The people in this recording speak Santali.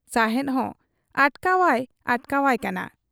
ᱥᱟᱦᱮᱸᱫ ᱦᱚᱸ ᱚᱴᱠᱟᱣ ᱟᱭ ᱚᱴᱠᱟᱣᱟᱭ ᱠᱟᱱᱟ ᱾